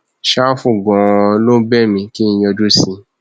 ṣàfù ganan ló ń bẹ mí kí n yọjú sí i